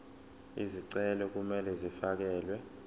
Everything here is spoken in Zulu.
izicelo kumele zifakelwe